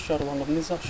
İndi harda aşkarlanıb?